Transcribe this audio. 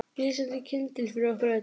Lýsandi kyndill fyrir okkur öll.